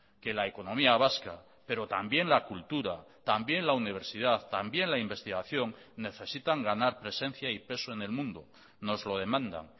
que la economía vasca pero también la cultura también la universidad también la investigación necesitan ganar presencia y peso en el mundo nos lo demandan